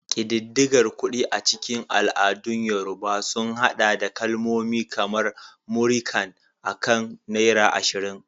Ƙididdigar kuɗi a cikin al'adun Yorùbá sun haɗa da kalmomi kamar "Múrí kan" akan naira 20.